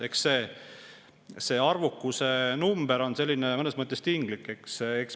Eks see arvukuse number ole mõnes mõttes tinglik.